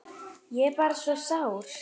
Ég er bara svo sár.